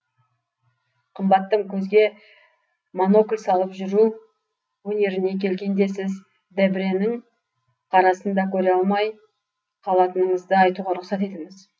қымбаттым көзге монокль салып жүру өнеріне келгенде сіз дебрэнің қарасын да көре алмай қалатыныңызды айтуға рұқсат етіңіз